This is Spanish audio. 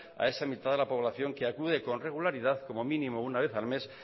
a esa mitad de la población que acude con regularidad como mínimo una vez al mes